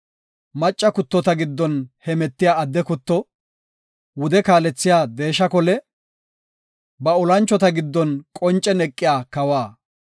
Macca kuttota giddon hemetiya adde kutto, wude kaalethiya deesha kole; ba olanchota giddon qoncen eqiya kawa.